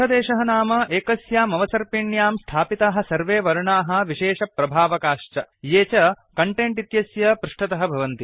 पृष्ठदेशः नाम एकस्यामवसर्पिण्यां स्थापिताः सर्वे वर्णाः विशेषप्रभावकाश्च ये कण्टेण्ट् इत्यस्य पृष्ठतः भवन्ति